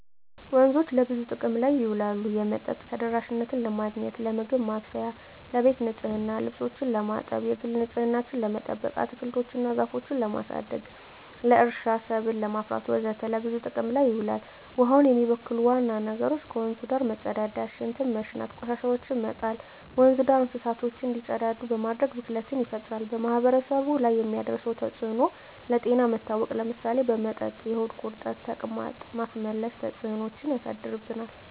ወንዞች ለብዙ ጥቅም ላይ ይውላሉ የመጠጥ ተደራሽነትን ለማግኘት, ለምግብ ማብሰያ , ለቤት ንፅህና , ልብሶችን ለማጠብ, የግል ንፅህናችን ለመጠበቅ, አትክልቶች እና ዛፎችን ለማሳደግ, ለእርሻ ሰብል ለማፍራት ወዘተ ለብዙ ጥቅም ይውላል። ውሀውን የሚበክሉ ዋና ነገሮች ከወንዙ ዳር መፀዳዳት , ሽንት በመሽናት, ቆሻሻዎችን በመጣል, ወንዙ ዳር እንስሳቶች እንዲፀዳዱ በማድረግ ብክለት ይፈጠራል። በማህበረሰቡ ላይ የሚያደርሰው ተፅዕኖ ለጤና መታወክ ለምሳሌ በመጠጥ የሆድ ቁርጠት , ተቅማጥ, ማስመለስ ተፅዕኖች ያሳድርብናል።